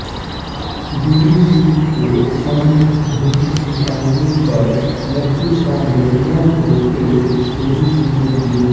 गुरुजी के सांड ढूंढ निकालने पर लखी शाह ने नौ रूपये गुरुजी को दिए